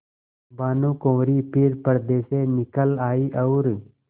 भानुकुँवरि फिर पर्दे से निकल आयी और